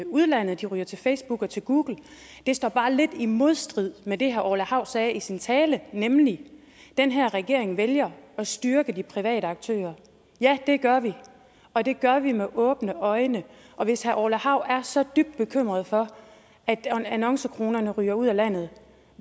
udlandet de ryger til facebook og til google det står bare lidt i modstrid med det herre orla hav sagde i sin tale nemlig at den her regering vælger at styrke de private aktører ja det gør vi og det gør vi med åbne øjne og hvis herre orla hav er så dybt bekymret for at annoncekronerne ryger ud af landet